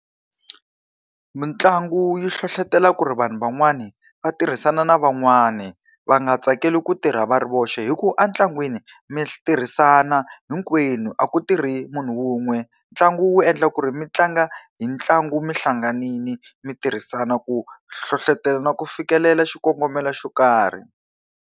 Mitlangu yi hlohletela ku ri vanhu van'wani va tirhisana na van'wani. Va nga tsakeli ku tirha va ri voxe hikuva entlangwini mi tirhisana hinkwenu, a ku tirhi munhu wun'we. Ntlangu wu endla ku ri mi tlanga hi ntlangu mi hlanganile, mi tirhisana ku hlohletelo na ku fikelela xikongomelo xo karhi.